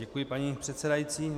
Děkuji, paní předsedající.